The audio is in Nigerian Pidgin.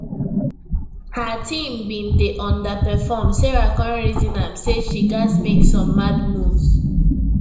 her team bin dey underperform sarah come reason am say she gats make some mad moves